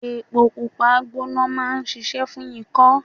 Epo Pupa gbona máa ń ṣíṣe fún ikọ.